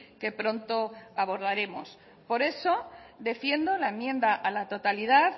que pronto abordaremos por eso defiendo la enmienda a la totalidad